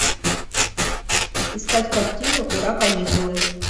искать картину ура каникулы